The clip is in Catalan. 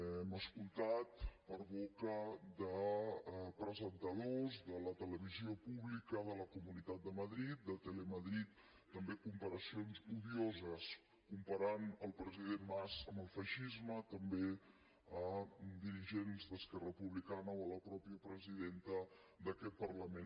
hem escoltat per boca de presentadors de la televisió pública de la comunitat de madrid de telemadrid també comparacions odioses comparant el president mas amb el feixisme també a dirigents d’esquerra republicana o a la mateixa presidenta d’aquest parlament